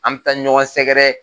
An mi taa ɲɔgɔn sɛgɛrɛ.